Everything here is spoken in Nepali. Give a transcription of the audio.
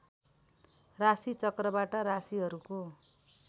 राशि चक्रबाट राशिहरूको